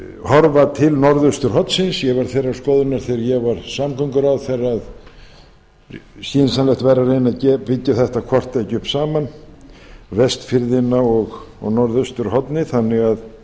horfa til norðausturhornsins ég var þeirrar skoðunar þegar ég var samgönguráðherra að skynsamlegt væri að reyna byggja þetta hvort tveggja upp saman vestfirðina og norðausturhornið þannig að